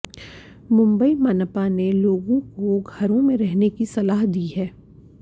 मुंबई मनपा ने लोगों को घरों में रहने की सलाह दी है